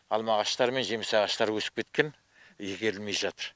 алма ағаштар мен жеміс ағаштары өсіп кеткен игерілмей жатыр